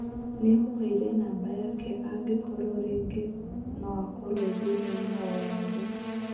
Nĩamũheire nũmber yake angĩkorwo rĩngĩ no akorwo ethĩnainĩ owothe.